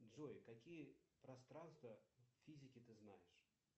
джой какие пространства в физике ты знаешь